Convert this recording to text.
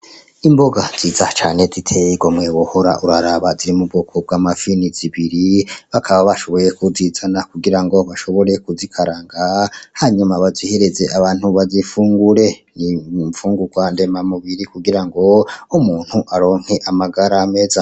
Imboga nziza cane ziteye igomwe buhoro uraraba ziri mubwoko bw'amafi ni zibiri bakaba bashoboye kuzizana kugira ngo bashobore kuzikaranga hanyuma bazihereze abantu bazifungure ni mpfungurwa ndema mubiri kugira ngo umuntu aronke amagara meza.